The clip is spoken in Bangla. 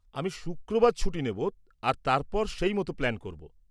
আমি শুক্রবার ছুটি নেব আর তারপর সেই মতো প্ল্যান করব।